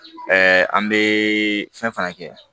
an bɛ fɛn fana kɛ